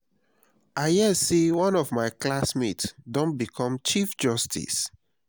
i hear say one of my classmates don become chief justice